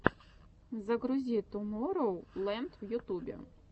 загрузи тумороу ленд в ютубе